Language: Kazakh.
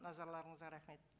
назарларыңызға рахмет